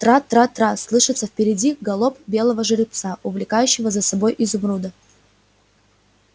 трра-трра-трра слышится впереди галоп белого жеребца увлекающего за собой изумруда